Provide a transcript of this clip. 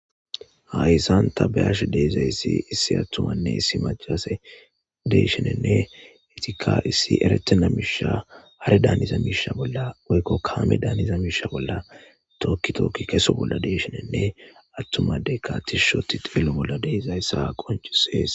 Hayssan ta bayash deezayssi issi attumanne issi majalase deeshinenne etika issi eretena miisha hare daaniza miisha bolla oykko kaame daaniza miisha bolla tookki tookki keso bolla deeshinenne attumadey katishshoti xelo bolla deezayssa qoncisees.